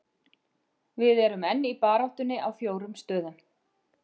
Við erum enn í baráttunni á fjórum stöðum.